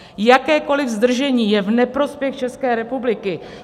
Jakékoliv zdržení je v neprospěch České republiky.